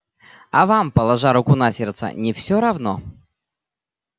а вам положа руку на сердце не всё равно